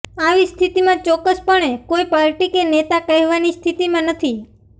આવી સ્થિતિમાં ચોક્કસપણે કોઇ પાર્ટી કે નેતા કહેવાની સ્થિતિમાં નથી